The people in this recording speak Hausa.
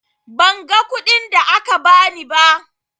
Ban ga kuɗin da aka ba ni ba.